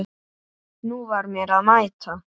Nú var mér að mæta!